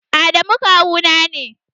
Adamu kawu na ne